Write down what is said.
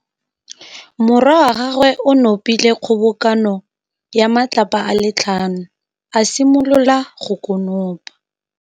Morwa wa gagwe o nopile kgobokanô ya matlapa a le tlhano, a simolola go konopa.